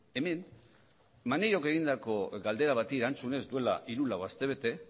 hemen maneirok egindako galdera bati erantzunez duela hiru lau astebete